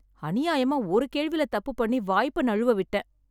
அநியாயமா ஒரு கேள்வில தப்பு பண்ணி வாய்ப்ப நழுவ விட்டேன்